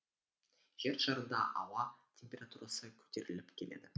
жер шарында ауа температурасы көтеріліп келеді